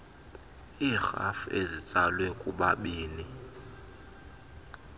iirhafu ezitsalwe kubanini